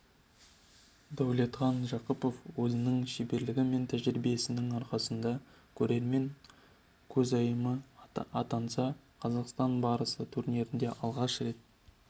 дәулетхан жақыпов өзінің шеберлігі мен тәжірибесінің арқасында көрермен көзайымы атанса қазақстан барысы турниріне алғаш рет